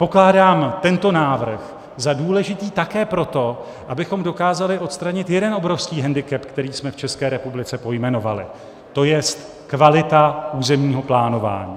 Pokládám tento návrh za důležitý také proto, abychom dokázali odstranit jeden obrovský hendikep, který jsme v České republice pojmenovali, to jest, kvalita územního plánování.